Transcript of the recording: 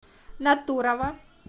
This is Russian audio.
натурово